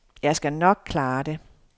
Jeg skal nok klare det.